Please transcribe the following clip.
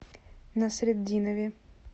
насретдинове